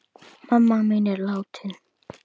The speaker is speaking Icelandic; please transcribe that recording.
Mamma mín er látin.